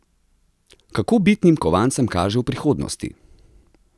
Kako bitnim kovancem kaže v prihodnosti?